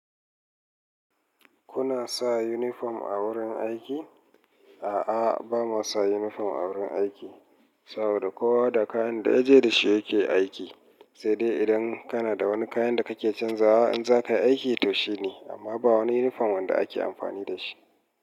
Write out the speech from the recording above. Kuna sa uniform a wurin aiki? A'a, ba mu sa uniform a wurin aiki. Saboda kowa da kayan da ya je da shi yake aiki, sai dai idan kana da wani kayan da kake canzawa in za ka yi aiki to shine, amma ba wani uniform wanda ake amfani da shi.